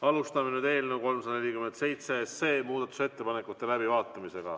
Alustame nüüd eelnõu 347 muudatusettepanekute läbivaatamist.